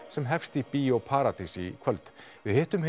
sem hefst í Bíó paradís í kvöld við hittum